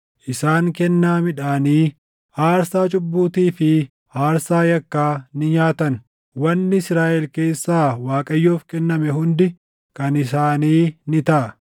Isaan kennaa midhaanii, aarsaa cubbuutii fi aarsaa yakkaa ni nyaatan; wanni Israaʼel keessaa Waaqayyoof kenname hundi kan isaanii ni taʼa.